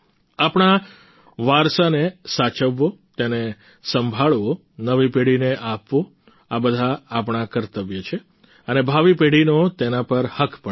આપણા વારસાને સાચવવો તેને સંભાળવો નવી પેઢીને આપવો આ બધા આપણા કર્તવ્ય છે અને ભાવી પેઢીનો તેના પર હક પણ છે